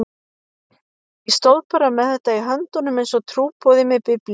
Ég stóð bara með þetta í höndunum einsog trúboði með Biblíuna.